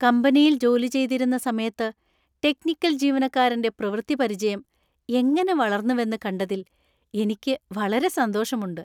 കമ്പനിയിൽ ജോലി ചെയ്തിരുന്ന സമയത്ത് ടെക്നിക്കൽ ജീവനക്കാരന്‍റെ പ്രവൃത്തിപരിചയം എങ്ങനെ വളർന്നുവെന്ന് കണ്ടതിൽ എനിക്ക് വളരെ സന്തോഷമുണ്ട്.